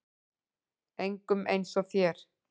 Engum eins og þér.